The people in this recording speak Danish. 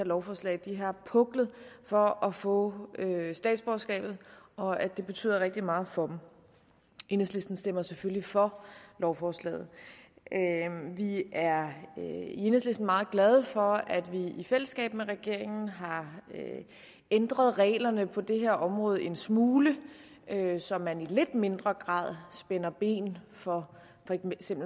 lovforslag har puklet for at få statsborgerskabet og at det betyder rigtig meget for dem enhedslisten stemmer selvfølgelig for lovforslaget vi er i enhedslisten meget glade for at vi i fællesskab med regeringen har ændret reglerne på det her område en smule så man i lidt mindre grad spænder ben for